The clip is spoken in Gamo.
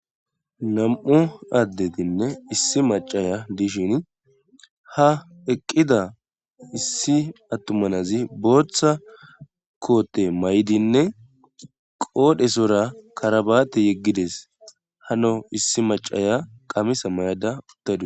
Nam'u addetinne issi macaya dishin ha eqqida issi attumanazi booththa koote may7dinne qoodhesora karabaate yeggides hano issi macaya qamisa may7ada uttadis